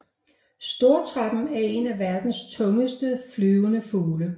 Stortrappen er en af verdens tungeste flyvende fugle